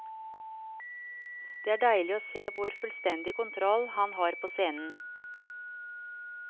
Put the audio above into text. Det er deilig å se hvor fullstendig kontroll han har på scenen.